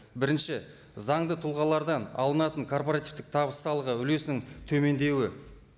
бірінші заңды тұлғалардан алынатын корпоративтік табыс салығы үлесінің төмендеуі